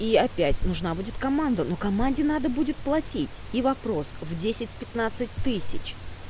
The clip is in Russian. и опять нужна будет команда но команде надо будет платить и вопрос в десять пятнадцать тысяч